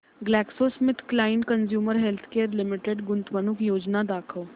GlaxoSmithKline Consumer Healthcare Limited गुंतवणूक योजना दाखव